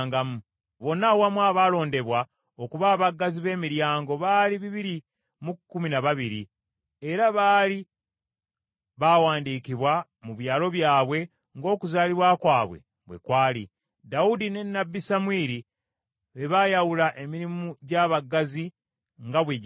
Bonna awamu, abaalondebwa okuba abaggazi b’emiryango baali bibiri mu kkumi na babiri, era baali baawandiikibwa mu byalo byabwe ng’okuzaalibwa kwabwe bwe kwali. Dawudi ne nnabbi Samwiri be bayawula emirimu gy’abaggazi nga bwe gyali.